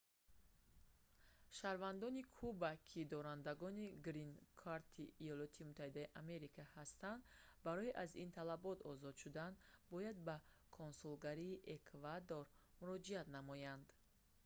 шаҳрвандони куба ки дорандагони «грин-корт»-и има ҳастанд барои аз ин талабот озод шудан бояд ба консулгарии эквадор муроҷиат намоянд